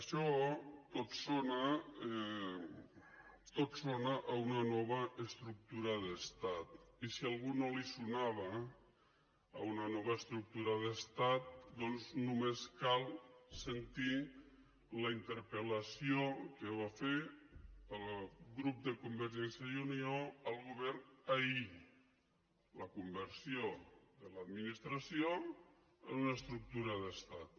això tot sona a una nova estructura d’estat i si a algú no li sonava a una nova estructura d’estat doncs només cal sentir la interpel·lació que va fer el grup de convergència i unió al govern ahir la conversió de l’administració en una estructura d’estat